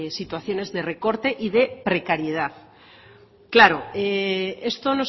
situaciones de recorte y de precariedad claro esto